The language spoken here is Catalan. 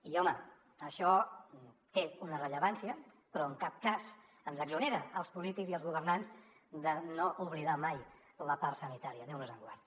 i home això té una rellevància però en cap cas ens exonera als polítics i als governants d’oblidar mai la part sanitària déu nos en guard